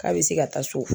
K'a bɛ se ka taa so